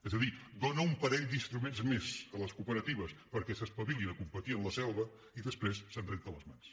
és a dir dóna un parell d’instruments més a les cooperatives perquè s’espavilin a competir en la selva i després se’n renta les mans